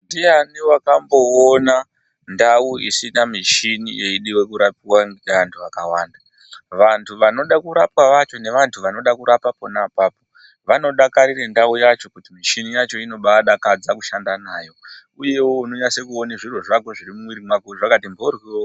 Ndiyani wakamboona ndau isina mishini yeidiwa kurapiwa ngeantu akawanda. Vantu vanoda kurapa vacho nevantu vanoda kurapwa pona apapo vanodakarira ndau yacho kuti michini yacho inombaadakadza kushanda nayo uyewo unonase kuone zviro zvako zviri mumwiri mwako zvakati mboryo.